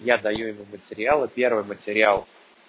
я даю ему материалы первый материал